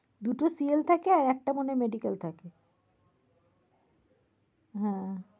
দুটো CL থাকে আর একটা মনে হয় medical থাকে। হ্যাঁ।